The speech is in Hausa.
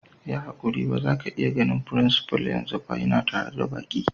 Yi hankuti ba za ka samu ganin frincipa'n yanzu ba, ya na tare da baki.